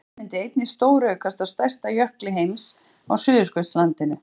bráðnun myndi einnig stóraukast á stærsta jökli heims á suðurskautslandinu